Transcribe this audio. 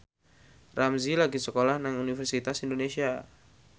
Ramzy lagi sekolah nang Universitas Indonesia